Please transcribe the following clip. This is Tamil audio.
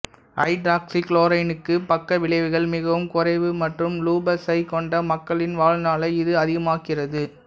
ஹைட்ராக்ஸிக்ளோகுயினுக்கு பக்க விளைவுகள் மிகவும் குறைவு மற்றும் லூபசை கொண்ட மக்களின் வாழ்நாளை இது அதிகமாக்குகிறது